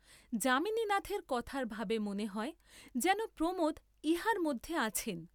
যামিনীনাথের কথার ভাবে মনে হয় যেন প্রমোদ ইহার মধ্যে আছেন।